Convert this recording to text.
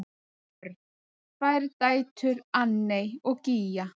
Börn: Tvær dætur, Anney og Gígja.